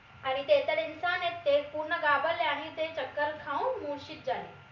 आणि त्यांचे ते पूर्ण घाबरले आणि ते चक्कर खाऊन मुर्शित झाले